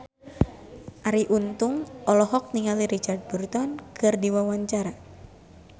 Arie Untung olohok ningali Richard Burton keur diwawancara